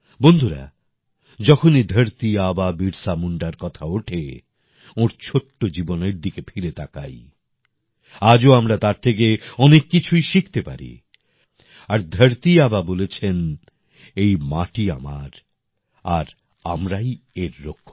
বন্ধুরা যখনই ধরতি আবা বিরসা মুন্ডার কথা ওঠে ওঁর ছোট্ট জীবনের দিকে ফিরে তাকাই আজও আমরা তার থেকে অনেক কিছুই শিখতে পারি আর ধরতি আবা বলেছেন এই মাটি আমার আর আমরাই এর রক্ষক